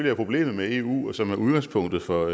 er problemet med eu og som er udgangspunktet for